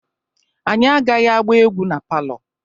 Anyị agaghị agba egwu na palọ.